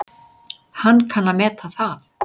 Hann kann að meta það.